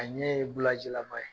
A ɲɛ ye bulaji lama ye.